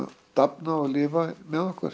dafna og lifa með okkur